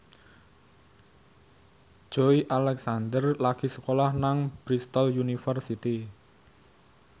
Joey Alexander lagi sekolah nang Bristol university